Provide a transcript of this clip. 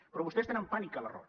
però vostès tenen pànic a l’error